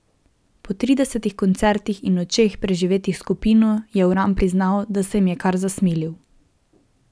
Po tridesetih koncertih in nočeh, preživetih s skupino, je Uran priznal, da se jim je kar zasmilil.